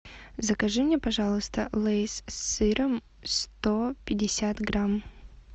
закажи мне пожалуйста лейс с сыром сто пятьдесят грамм